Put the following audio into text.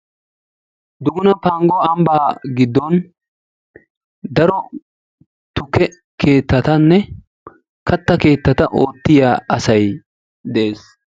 Duguna panggo ambba giddon daro tukke keetattanne katta keettata oottiya asay dees.